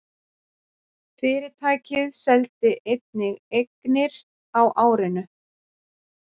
Fyrirtækið seldi einnig eignir á árinu